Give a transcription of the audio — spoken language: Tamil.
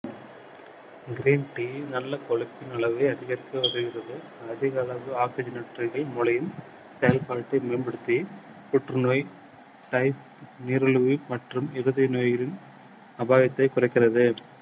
green tea நல்ல கொழுப்பின் அளவை அதிகரிக்க உதவுகிறது. அதிக அளவு oxygen மூளையில் செயல்படுத்தி குணப்படுத்தி புற்று நோய், type நீரழிவு மற்றும் இருதய நோய்களின் அபாயத்தைக் குறைக்கிறது.